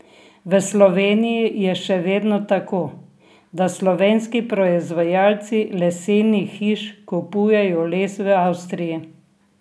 V Sloveniji je še vedno tako, da slovenski proizvajalci lesenih hiš kupujejo les v Avstriji.